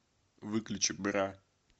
выключи бра